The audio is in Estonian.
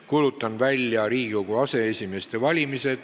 Kuulutan välja Riigikogu aseesimeeste valimise.